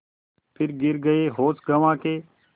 फिर गिर गये होश गँवा के